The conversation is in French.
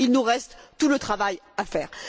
Il nous reste tout le travail à faire.